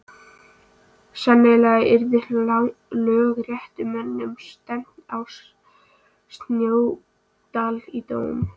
Sennilega yrði lögréttumönnum stefnt að Snóksdal til dóms.